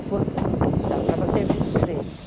foi estava estava a serviço deles.